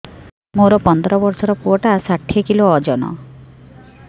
ମୋର ପନ୍ଦର ଵର୍ଷର ପୁଅ ଟା ଷାଠିଏ କିଲୋ ଅଜନ